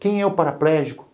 Quem é o paraplégico?